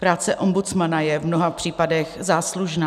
Práce ombudsmana je v mnoha případech záslužná.